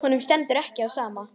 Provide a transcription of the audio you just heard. Honum stendur ekki á sama.